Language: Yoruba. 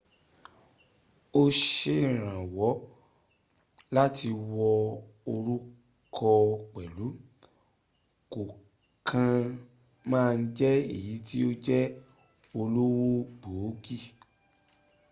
ó serànwọ́ láti wọ òrùkọ pẹ̀lú kó kàn má jẹ̀ẹ́ èyí tí ó jẹ́ olówó gọbọi